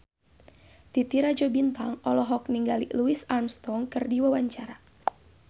Titi Rajo Bintang olohok ningali Louis Armstrong keur diwawancara